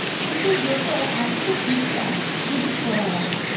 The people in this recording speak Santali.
-ᱩᱱᱠᱩ ᱡᱚᱛᱚ ᱟᱹᱰᱤ ᱠᱚ ᱠᱩᱥᱤᱜᱼᱟ ᱡᱩᱫᱤᱢ ᱠᱚᱨᱟᱣᱼᱟ ᱾